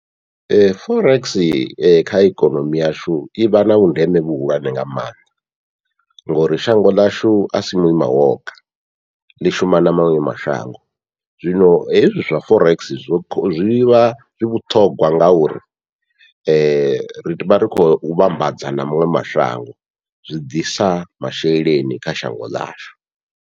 Ee forex kha ikonomi yashu ivha na vhundeme vhuhulwane nga maanḓa, ngouri shango ḽashu asi muima woga ḽi shuma na maṅwe mashango, zwino hezwi zwa forex zwi zwivha zwi vhuṱhongwa ngauri rivha ri khou vhambadza na maṅwe mashango zwi ḓisa masheleni kha shango ḽashu.